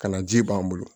Ka na ji b'an bolo